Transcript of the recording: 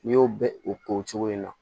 N'i y'o bɛɛ o ko cogo in na